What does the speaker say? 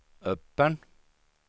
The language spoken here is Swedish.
öppen